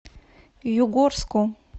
югорску